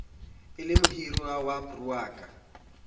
e le mohirwa wa broukara